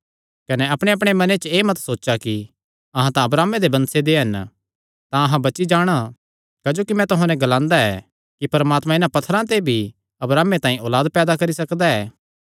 कने अपणेअपणे मने च एह़ मत सोचा कि अहां तां अब्राहमे दे वंशे दे हन तां अहां बची जाणा क्जोकि मैं तुहां नैं ग्लांदा ऐ कि परमात्मा इन्हां पत्थरां ते भी अब्राहमे तांई औलाद पैदा करी सकदा ऐ